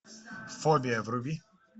фобия вруби